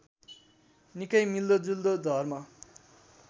निकै मिल्दोजुल्दो धर्म